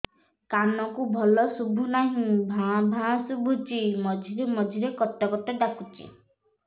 କାନକୁ ଭଲ ଶୁଭୁ ନାହିଁ ଭାଆ ଭାଆ ଶୁଭୁଚି ମଝିରେ ମଝିରେ କଟ କଟ ଡାକୁଚି